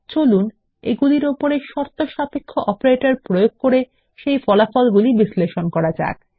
চলুন এগুলির ওপরে শর্তসাপেক্ষ অপারেটরদের প্রয়োগ করে সেই ফলাফলগুলি বিশ্লেষণ করা যাক